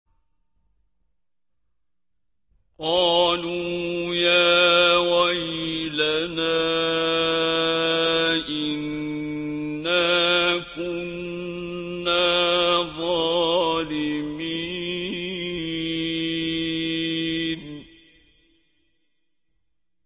قَالُوا يَا وَيْلَنَا إِنَّا كُنَّا ظَالِمِينَ